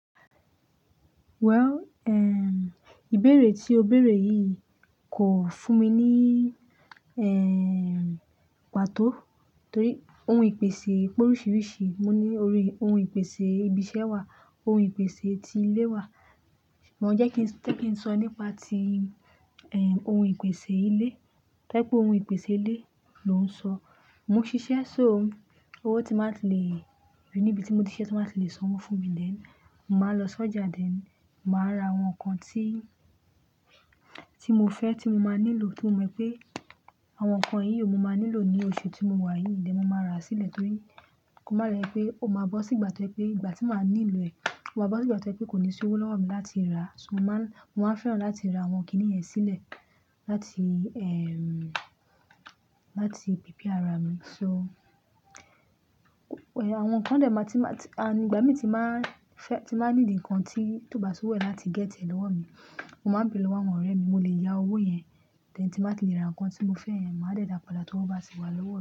Well, eh, ìbéèrè tí o béèrè yìí kò fún mi ní, eh, pàtó. Torí ohun ìpèsè pé oríṣiríṣi, mo ní orí ohun ìpèsè ibi iṣẹ́ wà, ohun ìpèsè ti ilé wà. Mo jẹ́ kí n, jẹ́ kí n sọ nípa ti, eh, ohun ìpèsè ilé. Tojepe ohun ìpèsè ilé ló ń sọ. Mo ń ṣiṣẹ́ so owó tí máa tí lè, rí níbi tí mo ti ṣiṣẹ́ tí máa tí lè sanwó fún mi then, màá lọ sí ọjà dẹ̀, màá ra àwọn nǹkan tí, tí mo fẹ́ tí mo máa nílò. Tí mo mọ pé àwọn nǹkan yìí ò mo máa nílò ní oṣù tí mo wà yìí, dẹ̀ mo máa rà á sílẹ̀ torí kó má rẹ pé ó máa bọ́ sí ìgbà tó pé ìgbà tí màá nílò ẹ̀, ó máa bọ́ sí ìgbà tó pé kò ní sí owó lọ́wọ́ mi láti rà á. So mo máa ń, mo máa ń fẹ́ràn láti ra àwọn kíní ẹ̀ sílẹ̀ láti, láti pípia ara mi. So, eh, àwọn nǹkan dè máa tí máa tí, a nígbà mí tí máa fẹ́, tí máa ní di ǹkan tí tó bá sì wo ẹ́ láti gẹ́tì rẹ lọ́wọ́ mi, mo máa ń béèrè lọ́wọ́ àwọn ọ̀rẹ́ mi, mo lè yá owó yẹn. Dẹ̀ tí máa ti lè ra ǹkan tí mo fẹ́ yẹn, màá dẹ́dà padà tí ó bá ti wà lọ́wọ́ mi.